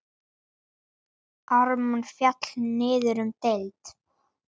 Ármann féll niður um deild.